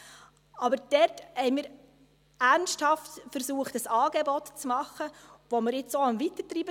Wir haben dort aber ernsthaft versucht, ein Angebot zu machen, das wir jetzt auch weitertreiben.